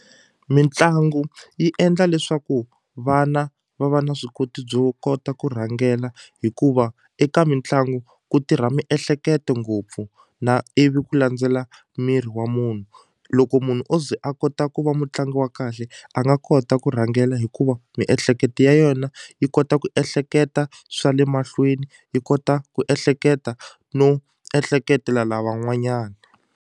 Mitlangu yi endla leswaku vana va va na swi koti byo kota ku rhangela hikuva eka mitlangu ku tirha miehleketo ngopfu na ivi ku landzela miri wa munhu loko munhu o ze a kota ku va mutlangi wa kahle a nga kota ku rhangela hikuva miehleketo ya yona yi kota ku ehleketa swa le mahlweni yi kota ku ehleketa no ehleketela lavan'wanyani.